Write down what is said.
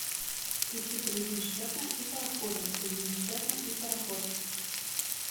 включи крузенштерна и парохода крузенштерна и пароход